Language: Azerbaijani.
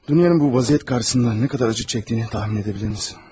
Dunyanın bu vəziyyət qarşısında nə qədər acı çəkdiyini təxmin edə bilərsiniz.